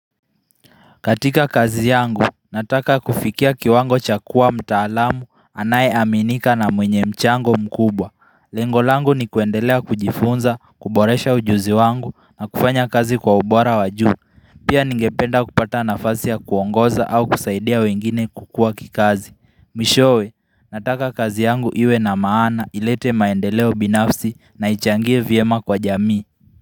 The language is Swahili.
Katika kazi yangu, nataka kufikia kiwango cha kuwa mtaalamu anayeaminika na mwenye mchango mkubwa. Lengo langu ni kuendelea kujifunza, kuboresha ujuzi wangu na kufanya kazi kwa ubora wa juu. Pia ningependa kupata nafasi ya kuongoza au kusaidia wengine kukua kikazi. Mwishowe, nataka kazi yangu iwe na maana, ilete maendeleo binafsi na ichangie vyema kwa jamii.